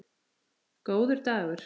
Góður dagur!